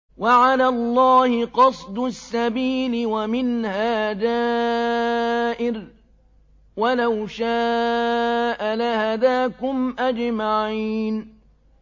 وَعَلَى اللَّهِ قَصْدُ السَّبِيلِ وَمِنْهَا جَائِرٌ ۚ وَلَوْ شَاءَ لَهَدَاكُمْ أَجْمَعِينَ